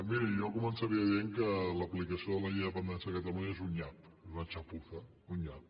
miri jo començaria dient que l’aplicació de la llei de dependència a catalunya és un nyap és una chapuza un nyap